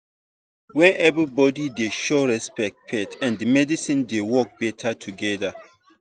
when everybody dey show respect faith and medicine dey work better together.